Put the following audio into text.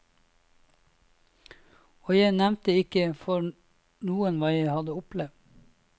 Og jeg nevnte ikke for noen hva jeg hadde opplevd.